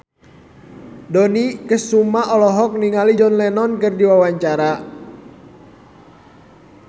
Dony Kesuma olohok ningali John Lennon keur diwawancara